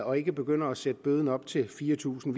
og ikke begynder at sætte bøden op til fire tusind